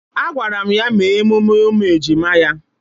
Agwara m ya mee emume ụmụ ejima ya.